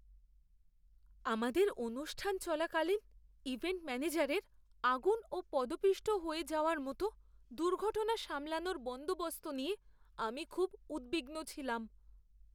আমাদের অনুষ্ঠান চলাকালীন ইভেন্ট ম্যানেজারের আগুন ও পদপিষ্ট হয়ে যাওয়ার মতো দুর্ঘটনা সামলানোর বন্দোবস্ত নিয়ে আমি খুব উদ্বিগ্ন ছিলাম।